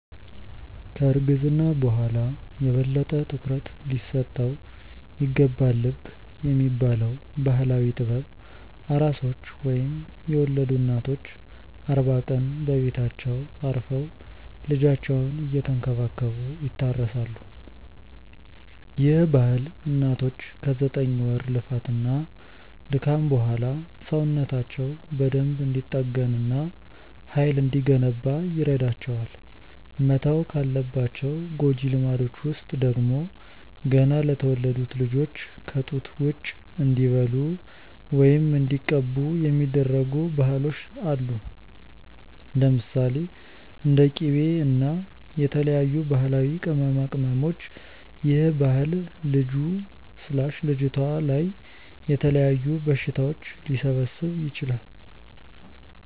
ከ እርግዝና በኋላ የበለጠ ትኩረት ሊሰጠው ይገባልብ የሚባለው ባህላዊ ጥበብ፤ ኣራሶች ወይም የወለዱ እናቶች አርባ ቀን በቤታቸው አርፈው ልጃቸውን እየተንከባከቡ ይታረሳሉ፤ ይህ ባህል እናቶች ከ ዘጠኝ ወር ልፋት እና ድካም በኋላ ሰውነታቸው በደንብ እንዲጠገን እና ሃይል እንዲገነባ ይረዳቸዋል። መተው ካለባቸው ጎጂ ልማዶች ውስጥ ደግሞ፤ ገና ለተወለዱት ልጆች ከ ጡት ውጪ እንዲበሉ ወይም እንዲቀቡ የሚደረጉ ባህሎች አሉ። ለምሳሌ፦ እንደ ቂቤ እና የተለያዩ ባህላዊ ቅመማቅመሞች ይህ ባህል ልጁ/ልጅቷ ላይ የተለያዩ በሽታዎች ሊሰበስብ ይችላል